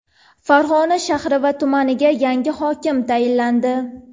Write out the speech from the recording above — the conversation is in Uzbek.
Farg‘ona shahri va tumaniga yangi hokim tayinlandi.